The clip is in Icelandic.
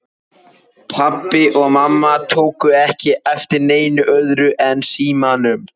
Pabbi og mamma tóku ekki eftir neinu öðru en símanum.